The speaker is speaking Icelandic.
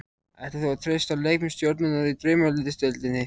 Ætlar þú að treysta á leikmenn stjörnunnar í Draumaliðsdeildinni?